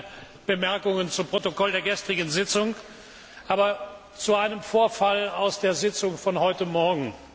Ich habe keine Bemerkungen zum Protokoll der gestrigen Sitzung, sondern zu einem Vorfall in der Sitzung von heute Morgen.